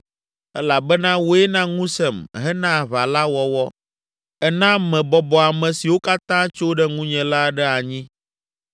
elabena wòe na ŋusẽm hena aʋa la wɔwɔ, èna mebɔbɔ ame siwo katã tso ɖe ŋunye la ɖe anyi.